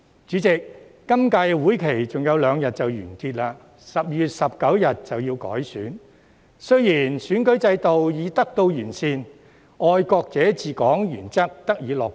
主席，本屆會期還有兩天便完結 ，12 月19日便要改選，而選舉制度已得到完善，"愛國者治港"原則得以落實。